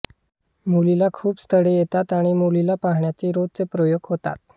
मुलीला खूप स्थळे येतात आणि मुलीला पाहण्याचे रोजच प्रयोग होतात